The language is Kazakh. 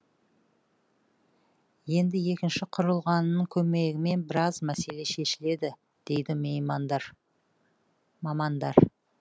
енді екінші құрылғының көмегімен біраз мәселе шешіледі дейді мамандар